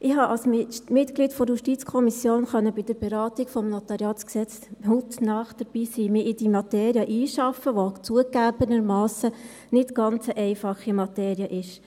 Ich konnte als Mitglied der JuKo bei der Beratung des NG hautnah dabei sein und mich in diese Materie einarbeiten, die zugegeben keine ganz einfache Materie ist.